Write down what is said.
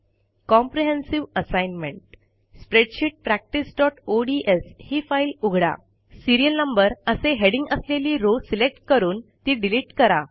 comprehensive ASSIGNMENT spread sheet practiceओडीएस ही file उघडा सीरियल नंबर असे हेडिंग असलेली रो सिलेक्ट करून ती डिलिट करा